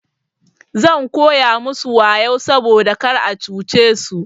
Zan koya musu wayau saboda kar a cuce su.